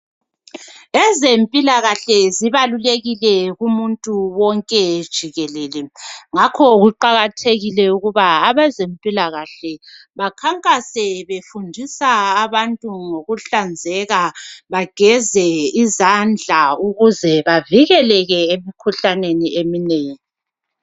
Ezempilakhle zibalulekile kumuntu wonke jikelele ngakho kuqakathekile ukuba abezempilakahle bakhankase befundisa abantu ngokuhlanzeka. Bageze izandla ukuze bavikeleke emikhuhlaneni eminengi.